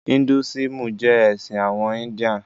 Hidúísìmù jẹ́ ẹ̀sìn àwọn India.